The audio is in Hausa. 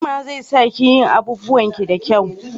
Himma zai sa ki yin abubuwan ki da kyau